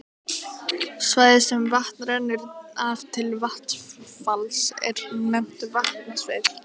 Svæði sem vatn rennur af til vatnsfalls er nefnt vatnasvið.